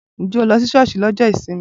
Ǹjẹ́ o lọ sí sọ́ọ́sì lọ́jọ́ ìsinmi?